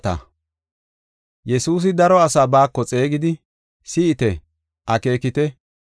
Yesuusi daro asaa baako xeegidi, “Si7ite! Akeekite!